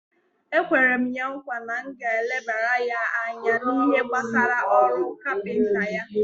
Ekwere m ya nkwa na m ga-elebara ya anya n'ihe gbasara ọrụ kapinta ya.